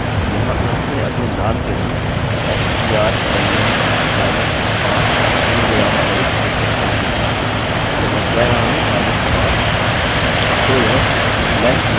और मैं यह भी कर सकता हूँ कि यहाँ अंत में अपने नाम के लिए strlen माइनस 5 पूर्णविराम सहित लिख सकता हूँ तो मैं कह रहा हूँ माइनस 5